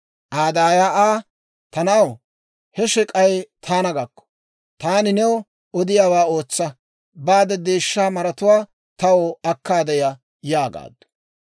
Aa daaya Aa, «Ta na'aw, he shek'ay taana gakko. Taani new odiyaawaa ootsa; baade deeshsha maratuwaa taw akkaade ya» yaagaaddu.